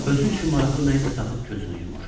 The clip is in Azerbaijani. Özü üçün maraqlı nə isə tapıb gözünü yumur.